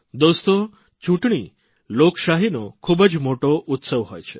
દોસ્તો ચૂંટણી લોકશાહીનો ખૂબ જ મોટો ઉસ્તવ હોય છે